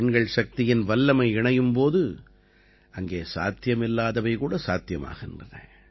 பெண்கள் சக்தியின் வல்லமை இணையும் போது அங்கே சாத்தியமில்லாதவை கூட சாத்தியமாகின்றன